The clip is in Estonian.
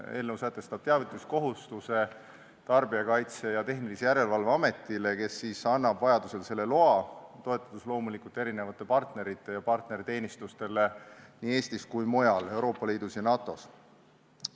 Eelnõu sätestab teavituskohustuse Tarbijakaitse ja Tehnilise Järelevalve Ametile, kes annab vajaduse korral selle loa, toetudes loomulikult partneritele ja partnerteenistustele nii Eestis kui ka mujal Euroopa Liidus ja NATO-s.